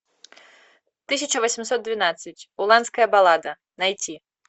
тысяча восемьсот двенадцать уланская баллада найти